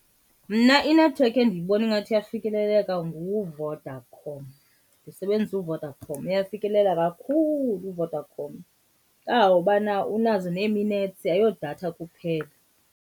Mna inethiwekhi endiyibona ingathi iyafikeleleka nguVodacom, ndisebenzisa uVodacom. Uyafikeleleka kakhulu uVodacom kangangobana unazo nee-minutes ayiyodatha kuphela.